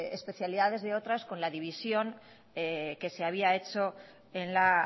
especialidades de otras con la división que se había hecho en la